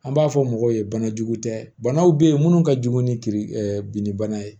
An b'a fɔ mɔgɔw ye banajugu tɛ banaw be yen munnu ka jugu ni kirin ɛ ɛ binnibana ye